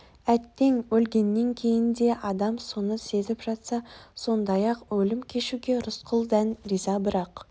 әттең өлгеннен кейін де адам соны сезіп жатса сондай ақ өлім кешуге рысқұл дән риза бірақ